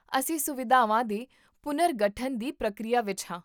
ਅਸੀਂ ਸੁਵਿਧਾਵਾਂ ਦੇ ਪੁਨਰਗਠਨ ਦੀ ਪ੍ਰਕਿਰਿਆ ਵਿੱਚ ਹਾਂ